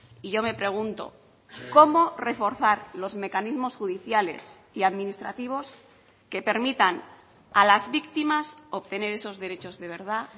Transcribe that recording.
y yo me pregunto cómo reforzar los mecanismos judiciales y administrativos que permitan a las victimas obtener esos derechos de verdad